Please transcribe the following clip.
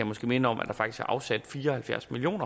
måske minde om at der faktisk er afsat fire og halvfjerds million